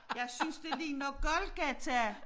Jeg synes det ligner Golgata